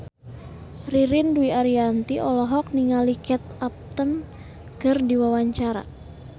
Ririn Dwi Ariyanti olohok ningali Kate Upton keur diwawancara